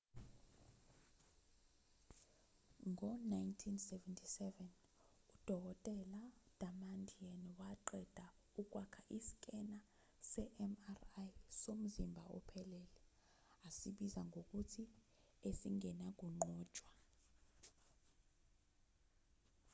ngo-1977 udkt damadian waqeda ukwakha iskena se-mri somzimba ophelele asibiza ngokuthi esingenakunqotshwa